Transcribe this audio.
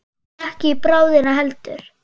Og ekki í bráðina heldur.